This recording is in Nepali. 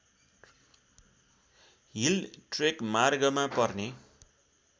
हिल ट्रेकमार्गमा पर्ने